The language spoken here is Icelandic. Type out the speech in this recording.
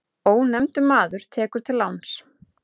Ónefndur maður tekur til láns.